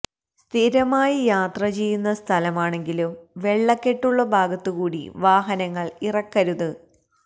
സ്തിരമായി യാത്ര ചെയ്യുന്ന സ്ഥലമാണെങ്കിലും വെള്ളക്കെട്ടുള്ള ഭാഗത്ത് കൂടി വാഹനങ്ങൾ ഇറക്കരുത്